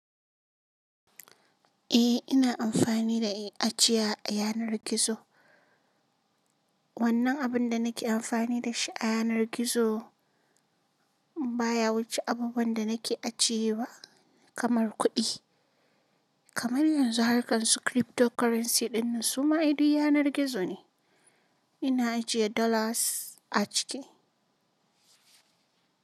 Eh, ina amfani da ajiya a yanar gizo. Wannan abin da nake amfani da shi a yanar gizo baya wuce abubuwan da nake ajiyewa kamar kuɗi. Kamar yanzu harkan su Cryptocurrency dinnan suma ai duk yanar gizo ne. Ina ajiye dollars a ciki.